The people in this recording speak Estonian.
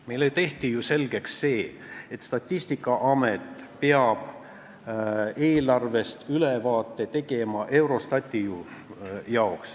Meile tehti ju selgeks, et Statistikaamet peab Eurostati jaoks eelarvest ülevaate tegema.